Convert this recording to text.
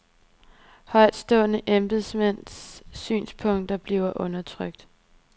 Højtstående embedsmænds synspunkter blev undertrykt.